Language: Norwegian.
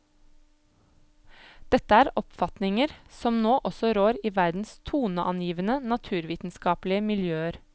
Dette er oppfatninger som nå også rår i verdens toneangivende naturvitenskapelige miljøer.